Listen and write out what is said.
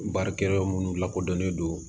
Baarakɛyɔrɔ minnu lakodɔnnen do